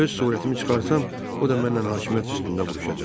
Öz surətimi çıxarsam, o da məndən hakimiyyət üstündə vuruşacaq.